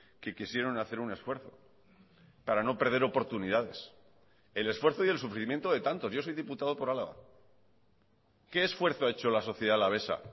que quisieron hacer un esfuerzo para no perder oportunidades el esfuerzo y el sufrimiento de tantos yo soy diputado por álava qué esfuerzo ha hecho la sociedad alavesa